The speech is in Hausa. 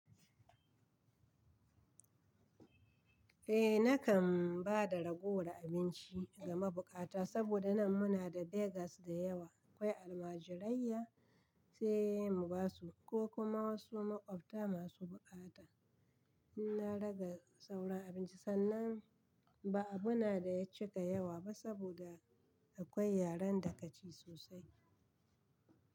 Eh nakan ba da ragowar abinci ga mabukata saboda nan muna da beggars da yawa akwai almajirai sai mu basu ko kuma wasu maƙwabta masu buƙata. In na rage sauran abinci sannan ba abu na da ya cika yawa ba saboda akwai yaren da ka ci sosai.